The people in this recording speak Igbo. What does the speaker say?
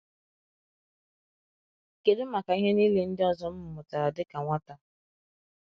Kedu maka ihe niile ndị ọzọ m mụtara dị ka nwata?